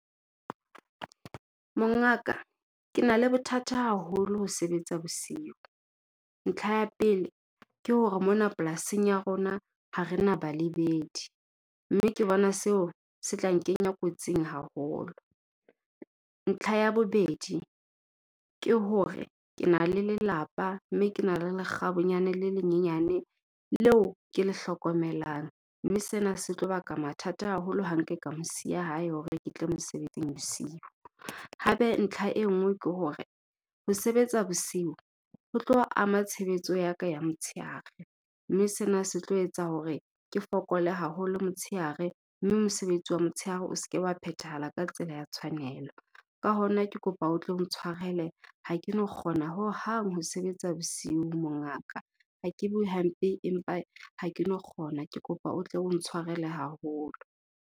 Mongaka, ke na le bothata haholo ho sebetsa bosiu. Ntlha ya pele, ke hore mona polasing ya rona ha re na balebedi, mme ke bona seo se tla nkenya kotsing haholo. Ntlha ya bobedi, ke hore ke na le lelapa mme ke na le lekgabunyane le lenyenyane leo ke le hlokomelang mme sena se tlo baka mathata haholo ha nke ka mo siya hae hore ke tle mosebetsing bosiu. Hape, ntlha e nngwe ke hore ho sebetsa bosiu ho tlo ama tshebetso ya ka ya motshehare mme sena se tlo etsa hore ke fokole haholo motshehare, mme mosebetsi wa motshehare o se ke wa phethahala ka tsela ya tshwanelo. Ka hona ke kopa o tlo ntshwarele, ha ke no kgona hohang ho sebetsa bosiu mongaka. Ha ke bue hampe empa ha ke no kgona, ke kopa o tlo o ntshwarele haholo.